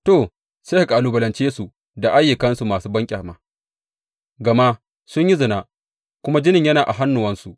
To, sai ka kalubalance su da ayyukansu masu banƙyama, gama sun yi zina kuma jinin yana a hannuwansu.